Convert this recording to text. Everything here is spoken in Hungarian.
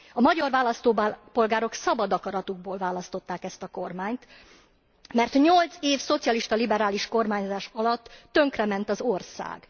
A magyar választópolgárok szabad akaratukból választották ezt a kormányt, mert nyolc év szocialista liberális kormányzás alatt tönkrement az ország.